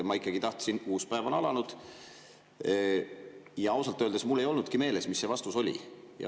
Ma ikkagi tahtsin teada, uus päev on alanud, ja ausalt öeldes mul ei olnudki meeles, mis see vastus oli.